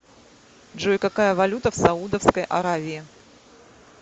джой какая валюта в саудовской аравии